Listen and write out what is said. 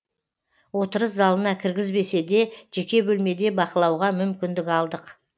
отырыс залына кіргізбесе де жеке бөлмеде бақылауға мүмкіндік алдық